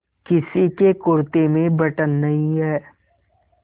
किसी के कुरते में बटन नहीं है